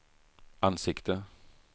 ansikte